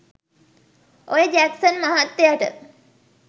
ඔය ජැක්සන් මහත්තයට